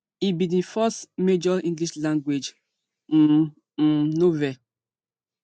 e bin be di first major englishlanguage um um novel